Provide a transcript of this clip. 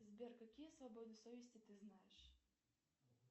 сбер какие свободы совести ты знаешь